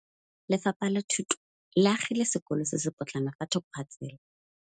Lefapha la Thuto le agile sekôlô se se pôtlana fa thoko ga tsela.